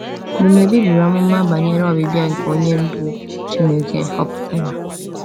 Dumebi buru amụma banyere ọbịbịa nke Onye Ndu Chineke họpụtara.